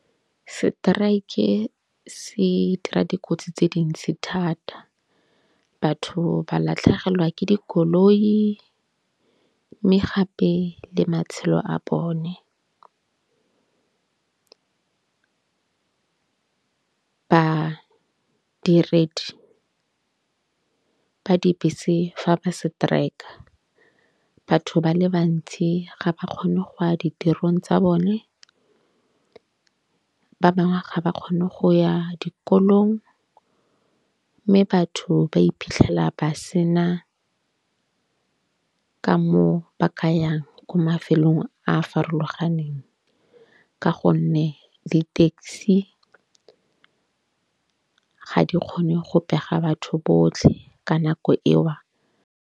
Strike se dira dikotsi tse dintsi thata. Batho ba latlhegelwa ke dikoloi mme gape le matshelo a bone. Badiredi ba dibese fa ba setrika batho ba le bantsi ga ba kgone go ya ditirong tsa bone, ba bangwe ga ba kgone go ya dikolong. Mme batho ba iphitlhela ba sena ka moo ba ka yang ko mafelong a farologaneng. Ka gonne di-taxi ga di kgone go pega batho botlhe ka nako eo.